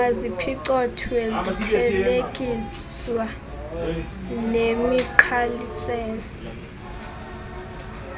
maziphicothwe zithelekiswa nemigqalisela